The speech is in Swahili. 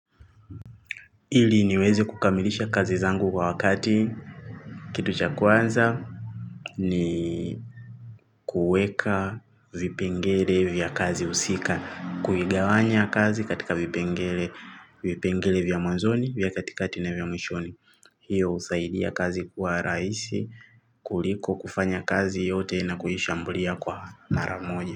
Ili niwezi kukamilisha kazi zangu kwa wakati. Kitu cha kwanza ni kuweka vipengele vya kazi husika. Kuigawanya kazi katika vipengele vya mwanzoni vya katikati na vya mwishoni. Hiyo husaidia kazi kwa rahisi kuliko kufanya kazi yote na kuhishambulia kwa maramoja.